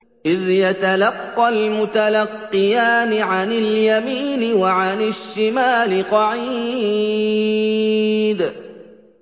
إِذْ يَتَلَقَّى الْمُتَلَقِّيَانِ عَنِ الْيَمِينِ وَعَنِ الشِّمَالِ قَعِيدٌ